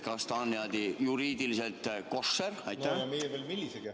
Kas see on juriidiliselt koššer?